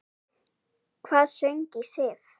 Hvað söng í Sif?